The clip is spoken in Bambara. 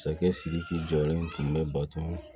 Masakɛ sidiki jɔlen tun bɛ bato